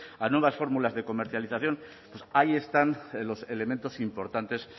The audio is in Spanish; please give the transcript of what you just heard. a nuevas fórmulas de comercialización pues ahí están los elementos importantes